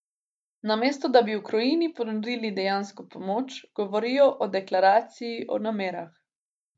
Namesto da bi Ukrajini ponudili dejansko pomoč, govorijo o deklaraciji o namerah.